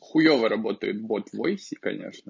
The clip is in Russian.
хуёво работает бот в войсе конечно